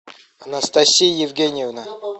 анастасия евгеньевна